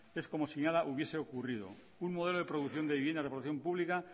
es como si nada hubiese ocurrido un modelo de producción de vivienda de protección pública